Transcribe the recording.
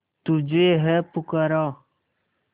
तुझे है पुकारा